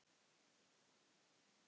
Segja honum þetta?